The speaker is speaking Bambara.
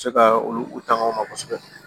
Se ka olu takanw ma kosɛbɛ